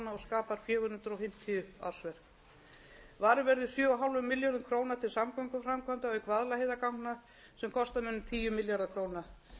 verður sjö og hálfum milljarði króna til samgönguframkvæmda auk vaðlaheiðarganga sem kosta mun um tíu milljarða króna